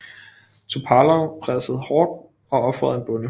Topalov pressede hårdt og ofrede en bonde